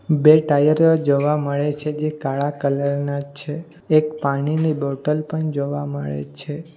બે ટાયર જોવા મળે છે જે કાળા કલર ના છે એક પાણીની બોટલ પણ જોવા મળે છે.